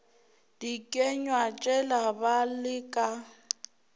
dikenywa tšela ba le ka